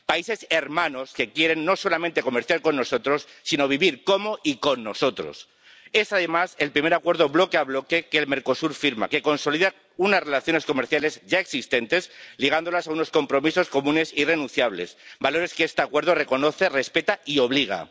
Países hermanos que quieren, no solamente comerciar con nosotros, sino vivir como y con nosotros. Es, además, el primer acuerdo bloque a bloque que firma el Mercosur y que consolida unas relaciones comerciales ya existentes, ligándolas a unos compromisos comunes irrenunciables, valores que este Acuerdo reconoce, respeta y obliga.